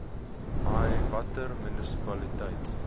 i watter munisipaliteite